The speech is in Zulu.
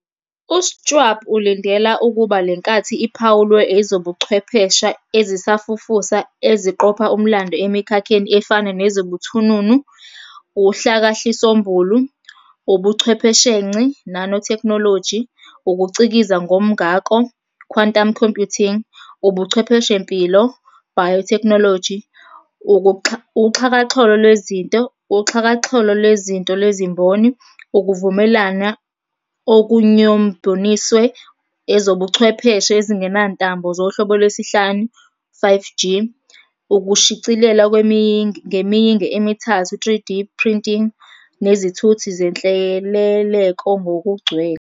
U-Schwab ulindela ukuba lenkathi iphawulwe ezobuchwepheshe ezisafufusa eziqopha umlando emikhakheni efana nezobuthununu, uhlakahlisombulu, ubuchwepheshenci "nanotechnology", ukuCikiza ngomngako "quantum computing", ubuchwepheshempilo "biotechnology", uxhakaxholo lwezinto, uxhakaxholo lwezinto lwezimboni, ukuvumelana okunyombonisiwe, ezobuchwepheshe ezingenantambo zohlobo lwesihlanu, 5G, ukushicilela ngemiyinge emithathu "3D printing", nezithuthi zenhleleleko ngokugcwele.